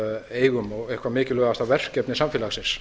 eigum og eitthvert mikilvægasta verkefni samfélagsins